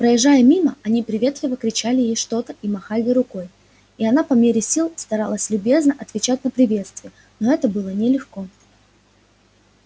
проезжая мимо они приветливо кричали ей что-то и махали рукой и она по мере сил старалась любезно отвечать на приветствия но это было нелегко